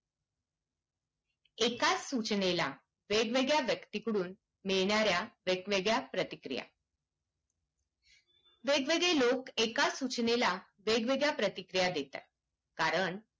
एकाच सूचनेला वेगवेगळ्या व्यक्तीकडून मिळणार्‍या वेग वेगळ्या प्रतिक्रिया वेगवेगळे लोक एकाच सूचनेला वेगवेगळ्या प्रतिक्रिया देतात कारण